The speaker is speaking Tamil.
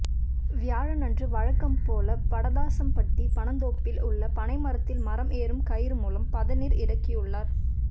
வியாழனன்று வழக்கம் போல படதாசம்பட்டி பனந்தோப்பில் உள்ள பனை மரத்தில் மரம் ஏறும் கயிறு மூலம் பதநீர் இறக்கியுள்ளார்